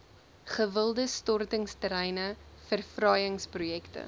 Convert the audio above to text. gewilde stortingsterreine verfraaiingsprojekte